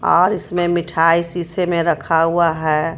और इसमें मिठाई सीसे में रखा हुआ है.